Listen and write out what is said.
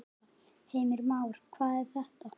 Heimir Már: Hver er það?